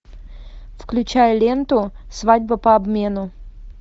включай ленту свадьба по обмену